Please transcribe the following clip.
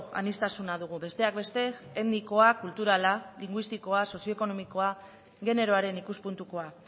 aniztasuna dugu besteak beste etnikoa kulturala linguistikoa sozioekonomikoa generoaren ikuspuntukoa